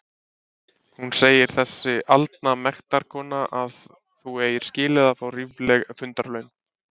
Hún segir þessi aldna mektarkona að þú eigir skilið að fá rífleg fundarlaun!